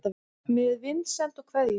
Með vinsemd og kveðjum